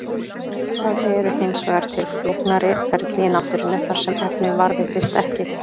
Það eru hins vegar til flóknari ferli í náttúrunni þar sem efnið varðveitist ekki.